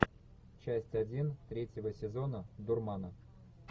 часть один третьего сезона дурмана